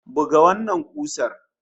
Buga wannan kusar!